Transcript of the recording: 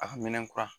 A ka minɛ kura